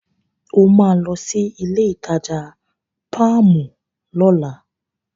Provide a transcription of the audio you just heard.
O máa lọ sí ilé-ìtajà páàmù lọ́la.